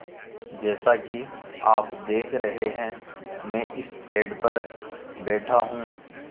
जैसा कि आप देख रहे हैं मैं इस पेड़ पर बैठा हूँ